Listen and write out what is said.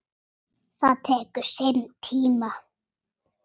Það tekur sinn tíma.